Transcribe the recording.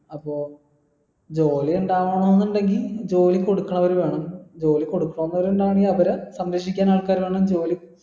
അപ്പൊ ജോലി ഇണ്ടാവണോന്നുണ്ടെങ്കി ജോലി കൊടുക്കാൻ അവര് വേണം ജോലി കൊടുക്കാൻ അവരെ സംരക്ഷിക്കാൻ ആൾക്കാർ വേണം ജോലി